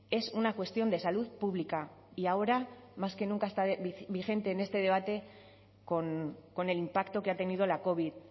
es una cuestión de salud pública y ahora más que nunca está vigente en este debate con el impacto que ha tenido la covid